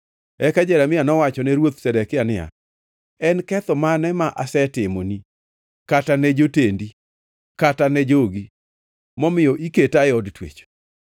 Eka Jeremia nowachone Ruoth Zedekia niya, “En ketho mane ma asetimoni kata ne jotendi kata ne jogi, momiyo iketa e od twech?